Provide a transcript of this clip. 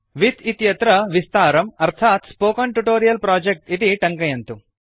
with इत्यत्र विस्तारम् अर्थात् स्पोकेन ट्यूटोरियल् प्रोजेक्ट् इति टङ्कयन्तु